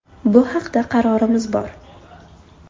Bu haqda qarorimiz bor.